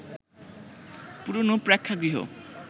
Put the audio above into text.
পুরোনো প্রেক্ষাগৃহ